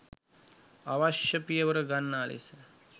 අවශ්‍ය පියවර ගන්නා ලෙස